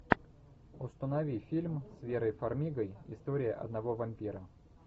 установи фильм с верой фармигой история одного вампира